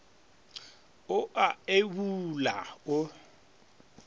o a e bula o